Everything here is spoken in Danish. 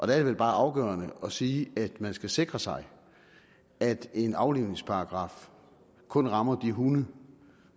det vel bare afgørende sige at man skal sikre sig at en aflivningsparagraf kun rammer de hunde